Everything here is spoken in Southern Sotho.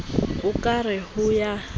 o ka re ho ya